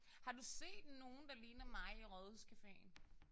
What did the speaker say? Har du set nogen der ligner mig i Rådhuscaféen?